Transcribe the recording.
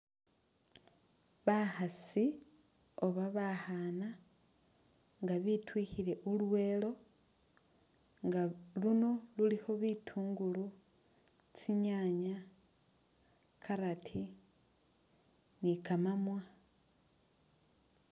Bakhasi oba bakhaana nga bityukhile ulweelo nga luno lulikho bitungulu, tsinyanya, carrot, ni kamamwa.